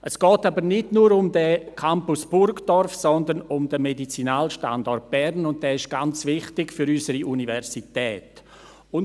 Es geht aber nicht nur um diesen Campus Burgdorf, sondern um den Medizinalstandort Bern, und dieser ist für unsere Universität ganz wichtig.